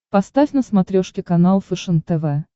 поставь на смотрешке канал фэшен тв